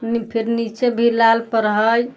फिर नीचे भी लाल पर हई।